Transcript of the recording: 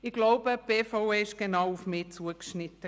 Ich glaube, die BVE war genau auf mich zugeschnitten.